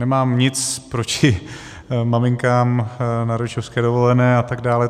Nemám nic proti maminkám na rodičovské dovolené a tak dále.